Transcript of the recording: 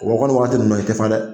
U ko ko nin wagati nunnu na, i te fa dɛ!